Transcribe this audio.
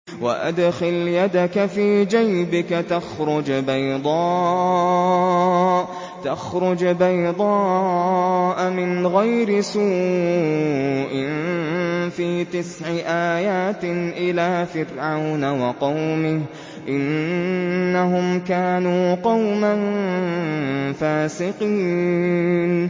وَأَدْخِلْ يَدَكَ فِي جَيْبِكَ تَخْرُجْ بَيْضَاءَ مِنْ غَيْرِ سُوءٍ ۖ فِي تِسْعِ آيَاتٍ إِلَىٰ فِرْعَوْنَ وَقَوْمِهِ ۚ إِنَّهُمْ كَانُوا قَوْمًا فَاسِقِينَ